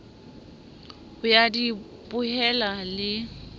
ho ya di bohela le